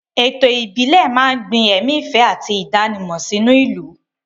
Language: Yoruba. Ètò ìbílẹ̀ máa ń gbin ẹ̀mí ìfẹ́ àti ìdánimọ̀ sínú ìlú.